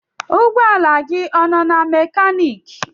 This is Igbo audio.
Ụgbọ ala gị ọ nọ na mekaniki?